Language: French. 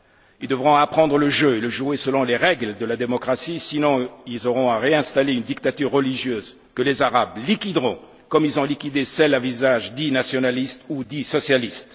Ils devront apprendre le jeu et le jouer selon les règles de la démocratie, sinon ils auront à réinstaller une dictature religieuse, que les Arabes liquideront comme ils ont liquidé celles à visage dit nationaliste ou dit socialiste.